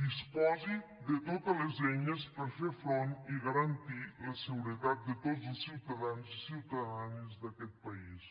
disposi de totes les eines per fer front i garantir la seguretat de tots els ciutadans i ciutadanes d’aquest país